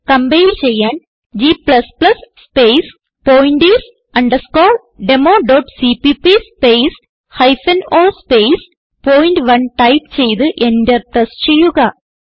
compile ചെയ്യാൻ g space pointers democpp space hyphen o space പോയിന്റ്1 type ചെയ്ത് enter press ചെയ്യുക